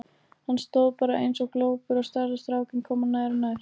Hann stóð bara eins og glópur og starði á strákinn koma nær og nær.